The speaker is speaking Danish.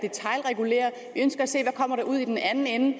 ønsker at se hvad der kommer ud i den anden ende